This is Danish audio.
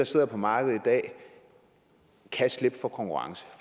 sidder på markedet kan slippe for konkurrence